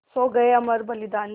सो गये अमर बलिदानी